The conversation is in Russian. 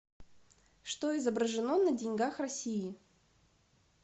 что изображено на деньгах россии